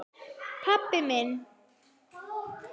pabbi minn